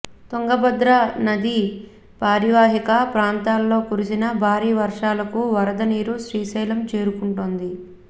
తుంగభద్ర నదీ పరీవాహక ప్రాంతాల్లో కురిసిన భారీ వర్షాలకు వరద నీరు శ్రీశైలం చేరుకుంటోంది